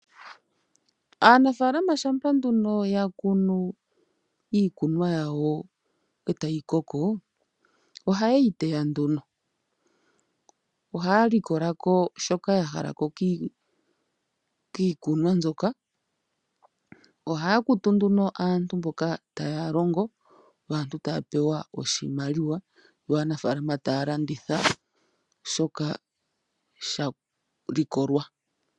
Aanafaalama shampa nduno ya kunu iikunwa yawo eta yi koko, oha yeyi teya nduno, oha ya likolako shoka ya halako kiikunwa mbyoka, oha ya kutu nduno aantu mboka ta ya longo, yo aanafaalama ta ya landitha shoka sha li kolwa.